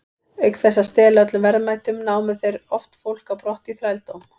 Auk þess að stela öllum verðmætum, námu þeir oft fólk á brott í þrældóm.